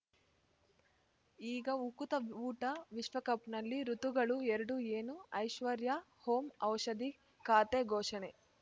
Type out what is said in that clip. ಈಗ ಉಕುತ ಊಟ ವಿಶ್ವಕಪ್‌ನಲ್ಲಿ ಋತುಗಳು ಎರಡು ಏನು ಐಶ್ವರ್ಯಾ ಓಂ ಔಷಧಿ ಖಾತೆ ಘೋಷಣೆ